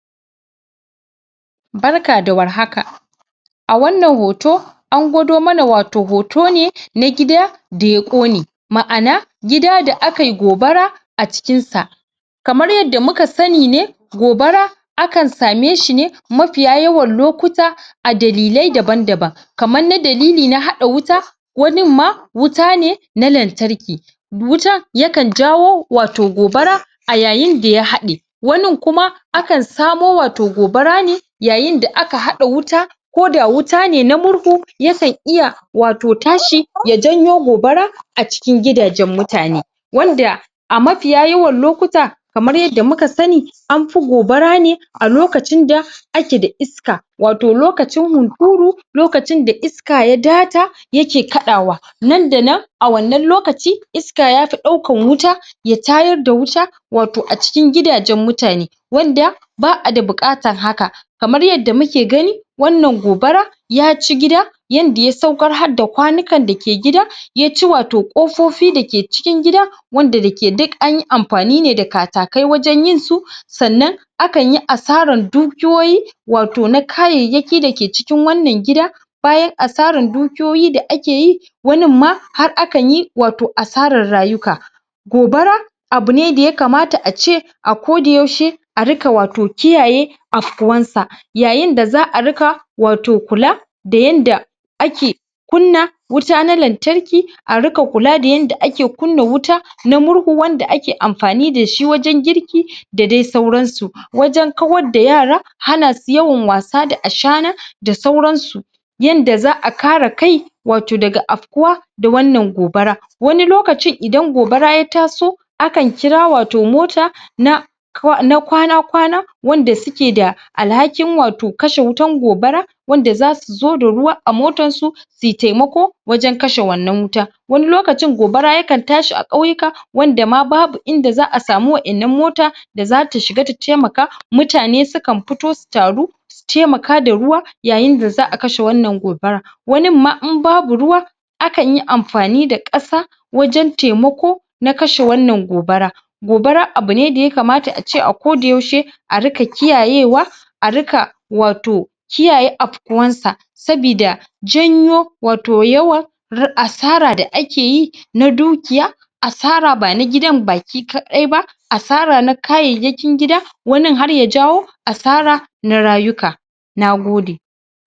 Barka da warhaka a wannan hoto an gwado mana wato hoto ne na gida da ya ƙone ma’ana gida da aka yi gobara a cikinsa kamar yadda muka sani ne gobara akan same shi ne mafiya yawan lokuta a dalilai daban-daban kamar na dalili na haɗa wuta wanin ma wuta ne na lantarki wuta yakan jawo wato gobara a yayin da ya haɗe wanin kuma akan samo wato gobara ne yayin da aka haɗa wuta ko da wuta ne na murhu yakan iya wato tashi ya janyo gobara a cikin gidajen mutane wanda a mafiya yawan lokuta kamar yadda muka sani an fi gobara ne a lokacin da ake da iska wato lokacin hunturu lokacin da iska ya daata ya ke kaɗawa nan da nan a wannan lokaci iska yafi ɗaukan wuta ya tayar da wuta wato a cikin gidajen mutane wanda ba a da buƙatan haka Kamar yadda muke gani wannan gobara ya ci gida yadda ya saukar har da kwanukan da ke gida ya ci wato ƙofofi da ke cikin gida wanda da ke duk an yi amfani ne da katakai wajen yin su sannan akan yi asarar dukiyoyi wato na kayayyaki da ke cikin wannan gida bayan asaran dukiyoyi da ake yi wanin ma har akan yi wato asarar rayuka gobara abu ne da yakamata a ce a koda yaushe a riƙa wato kiyaye afkuwan sa yayin da za a riƙa wato kula da yanda ake kunna wuta na lantarki a riƙa kula da yanke ake kunna wuta na murhu wanda ake amfani da shi wajen girki da dai sauransu wajen kawar da yara hana su yawan wasa da shana da sauransu yadda za a kare kai wato daga afkuwa da wannan gobara wani lokacin idan gobara ya taso akan kira wato mota na na kwana-kwana wanda suke da alhakin wato kashe wutan gobara wanda zasu zo da ruwa a motansu su yi taimako wajen kashe wannan wuta wani lokacin gobara yakan tashi a ƙauyuka wanda ma babu inda za a samu wa’innan mota da zata shiga ta taimaka. Mutane sukan fito su taru su taimaka da ruwa yayin da za a kashe wannan gobara wanin ma in babu ruwa akan yi amfani da ƙasa wajen taimako na kashe wannan gobara gobara abu ne da yakamata a ce a koda yaushe a riƙa kiyayewa a riƙa wato kiyaye afkuwarsa sabida janyo wato yawan asara da ake yi na dukiya asara bana gidan baki kaɗai ba asara na kayayyakin gida wanin har ya jawo asara na rayuka nagode